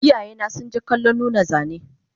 Iyayena sunje kallon nuna zane